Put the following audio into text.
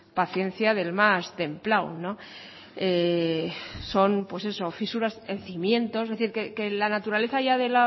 paciencia del más templado son fisuras en cimientos es decir que la naturaleza ya